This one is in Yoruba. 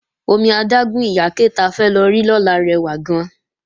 Omi adágún Ìyáké ta fẹ́ lọ rí lọ́la rẹwà gan-an